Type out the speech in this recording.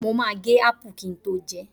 Mo ma gé ápà kin tó jẹẹ́.